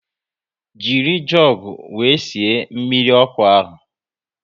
Jiri jugu wéré sie mmiri ọkụ ahu